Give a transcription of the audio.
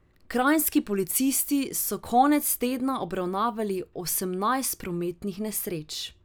Kranjski policisti so konec tedna obravnavali osemnajst prometnih nesreč.